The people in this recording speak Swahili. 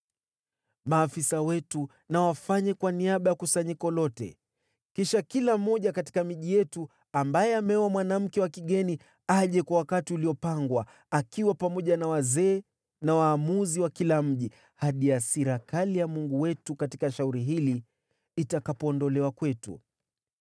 Maafisa wetu na wafanye kwa niaba ya kusanyiko lote. Kisha kila mmoja katika miji yetu ambaye ameoa mwanamke wa kigeni aje kwa wakati uliopangwa, akiwa pamoja na wazee na waamuzi wa kila mji, hadi hasira kali ya Mungu wetu katika shauri hili itakapoondolewa kwetu.”